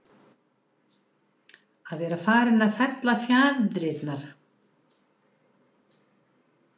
Að vera farinn að fella fjaðrirnar